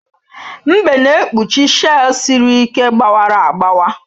Mbe na-ekpuchi shei siri ike gbawara agbawa